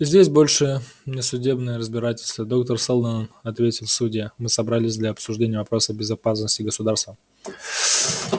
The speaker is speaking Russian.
здесь больше не судебное разбирательство доктор сэлдон ответил судья мы собрались для обсуждения вопроса безопасности государства